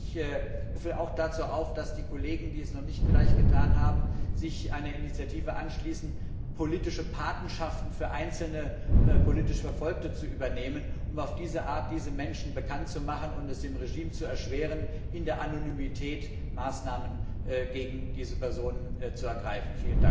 Ich rufe auch dazu auf, dass die Kollegen, die dies vielleicht noch nicht getan haben, sich einer Initiative anschließen, politische Patenschaften für einzelne politisch Verfolgte zu übernehmen, um auf diese Art diese Menschen bekannt zu machen und es dem Regime zu erschweren, in der Anonymität Maßnahmen gegen diese Personen zu ergreifen.